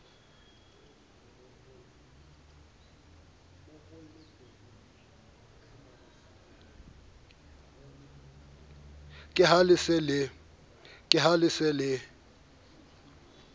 ke ha le se le